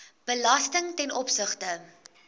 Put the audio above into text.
belasting ten opsigte